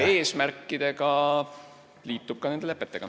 ... lepete eesmärkidega, ka liitub nende lepetega.